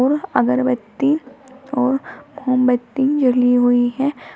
यह अगरबत्ती और मोमबत्ती जली हुई हैं।